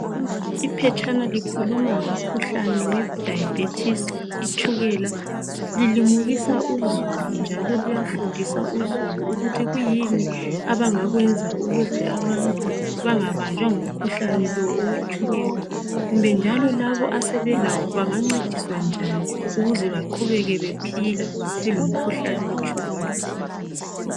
Iphetshana likhuluma ngomkhuhlane wetshukela. Lilimukisa njalo lifundisa uzulu ukuthi kuyini abangakwenza ukuze abantu bangabanjwa ngumkhuhlane lo kumbe njalo laba asebelawo banganceduswa njani ukuze baqhubeke bephila belawo.